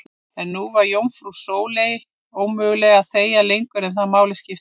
En nú var jómfrú Sóleyju ómögulegt að þegja lengur um það sem máli skipti.